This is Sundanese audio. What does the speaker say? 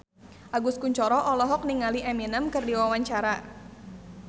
Agus Kuncoro olohok ningali Eminem keur diwawancara